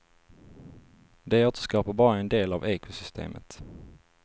De återskapar bara en del av ekosystemet.